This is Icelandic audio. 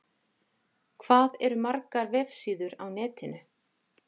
Hvað eru margar vefsíður á netinu?